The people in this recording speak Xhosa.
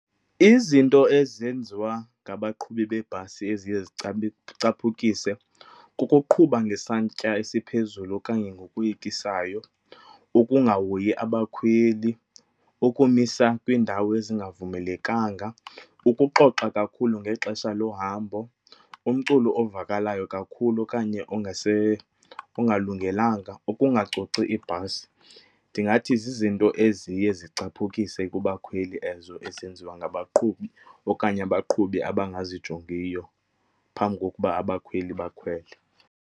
Izinto ezenziwa ngabaqhubi bebhasi eziye zicaphukise kukuqhuba ngesantya esiphezulu okanye ngokoyikisayo, ukungahoyi abakhweli, ukumisa kwiindawo ezingavumelekanga, ukuxoxa kakhulu ngexesha lohambo, umculo ovakalayo kakhulu okanye ongalungelanga, ukungacoci ibhasi. Ndingathi zizinto eziye zicaphukise kubakhweli ezo ezenziwa ngabaqhubi okanye abaqhubi abangazijongiyo phambi kokuba abakhweli bakhwele.